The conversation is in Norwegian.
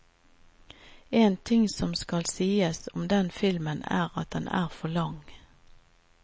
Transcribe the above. En ting som skal sies om denne filmen, er at den er for lang.